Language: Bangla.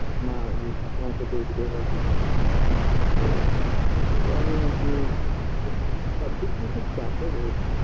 মা ইয়ে ঠাকুমাকে দেখবে বা কিছু তো সেটা নিয়ে আরকি খুব সবদিক দিয়ে খুব চাপে রয়েছি